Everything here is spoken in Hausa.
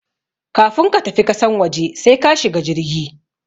Kafun ka tafi kasan waje sai ka shiga jirgi